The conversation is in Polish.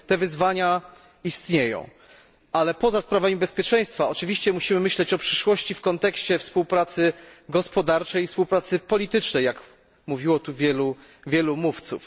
Więc te wyzwania istnieją, ale poza sprawami bezpieczeństwa oczywiście musimy myśleć o przyszłości w kontekście współpracy gospodarczej i współpracy politycznej, jak mówiło tu wielu mówców.